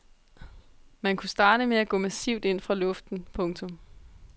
Man kunne starte med at gå massivt ind fra luften. punktum